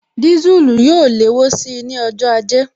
Disulu yóò léwó síi ní ọjọ́ ajé